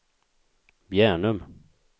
Bjärnum